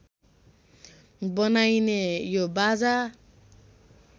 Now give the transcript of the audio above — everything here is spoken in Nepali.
बनाइने यो बाजा